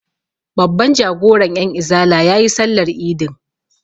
Babban jagoran 'yanizala ya yi sallar idin.